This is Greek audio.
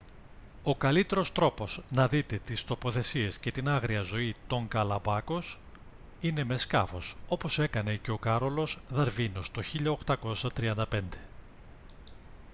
ο καλύτερος τρόπος να δείτε τις τοποθεσίες και την άγρια ζωή των γκαλαπάγκος είναι με σκάφος όπως έκανε και ο κάρολος δαρβίνος το 1835